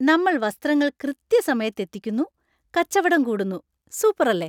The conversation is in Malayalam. നമ്മൾ വസ്ത്രങ്ങൾ കൃത്യസമയത്ത് എത്തിക്കുന്നു, കച്ചവടം കൂടുന്നു, സൂപ്പറല്ലേ!